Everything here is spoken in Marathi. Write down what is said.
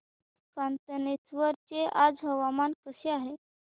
कातनेश्वर चे आज हवामान कसे आहे